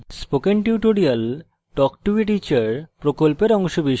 spoken tutorial talk to a teacher প্রকল্পের অংশবিশেষ